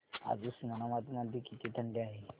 आज उस्मानाबाद मध्ये किती थंडी आहे